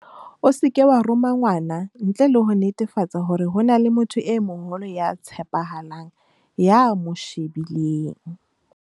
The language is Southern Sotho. O seke wa roma ngwana ntle le ho netefatsa hore ho na le motho e moholo ya tshepahalang ya mo shebileng.